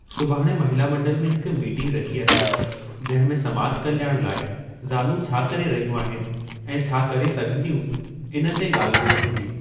सुभाणे 'महिला मंडल' में हिक मीटिंग रखी अथऊं जंहिं में समाज कल्याण लाइ ज़ालूं छा करे रहियू आहिनि ऐं छा करे सघंदियूं, इन ते गा॒ल्हि बोल थींदी।